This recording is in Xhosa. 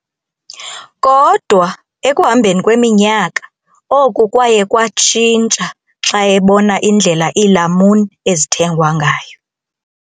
Kodwa ekuhambeni kweminyaka, oku kwaye kwatshintsha xa ebona indlela iilamuni ezithengwa ngayo.